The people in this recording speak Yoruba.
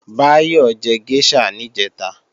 Báyọ̀ jẹ géṣà níjẹ̀ta